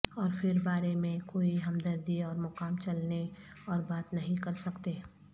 اور پھر بارے میں کوئی ہمدردی اور مقام چلنے اور بات نہیں کر سکتے